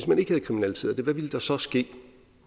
man ikke havde kriminaliseret det hvad ville der så ske